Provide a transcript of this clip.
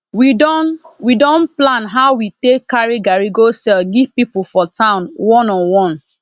we don we don plan how we take carri garri go sell give pipu for town one on one